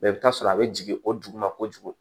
Mɛ i bɛ taa sɔrɔ a bɛ jigin o duguma kojugu